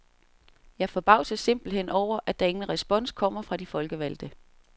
Jeg forbavses simpelthen over, at der ingen respons kommer fra de folkevalgte.